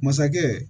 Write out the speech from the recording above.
Masakɛ